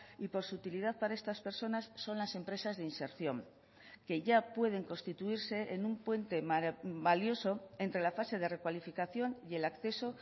y por su utilidad para estas personas son las empresas de inserción que ya pueden constituirse en un puente valioso entre la fase de recualificación y el acceso